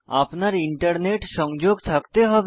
আপনার ইন্টারনেট সংযোগ থাকতে হবে